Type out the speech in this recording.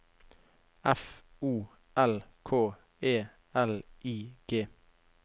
F O L K E L I G